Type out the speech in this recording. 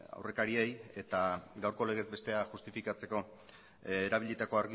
aurrekariei eta gaurko legez bestea justifikatzeko erabilitako